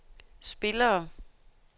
spillere